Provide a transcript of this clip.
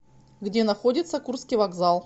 где находится курский вокзал